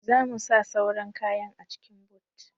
Za mu sa sauran kayan a cikin Boot.